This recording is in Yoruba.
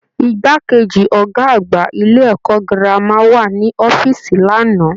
Igbákejì Ọgá àgbà ilé ẹ̀kọ́ gírámà wà ní ọ̀fiísí l'ana.